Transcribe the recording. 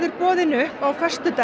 boðin upp á föstudag